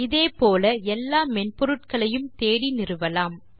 இதே போல எல்லா மென்பொருட்களையும் தேடி நிறுவலாம்